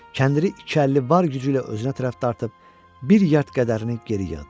Kəndiri iki əlli var gücü ilə özünə tərəf dartıb, bir yedd qədərini geri yığdı.